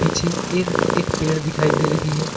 पीछे इर एक पेड़ दिखाई दे रही है।